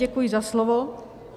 Děkuji za slovo.